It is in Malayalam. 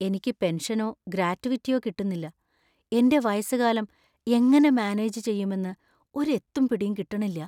എനിക്ക് പെൻഷനോ ഗ്രാറ്റുവിറ്റിയോ കിട്ടുന്നില്ല, എന്‍റെ വയസ്സുകാലം എങ്ങനെ മാനേജ് ചെയ്യുമെന്ന് ഒരു എത്തും പിടീം കിട്ടണില്ലാ .